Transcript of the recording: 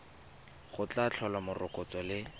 go tla tlhola morokotso le